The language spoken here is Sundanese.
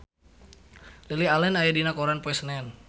Lily Allen aya dina koran poe Senen